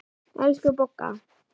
Elsku Bogga.